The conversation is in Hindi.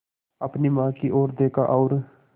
अपनी माँ की ओर देखा और